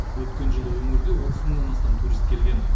өткен жылы өңірге отыз мыңнан астам турист келген